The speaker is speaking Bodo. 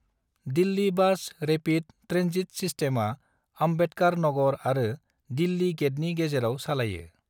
दिल्लि बास रेपिड ट्रेन्जिट सिस्टमआ आम्बेडकार नगर आरो दिल्लि गेटनि गेजेराव सालायो।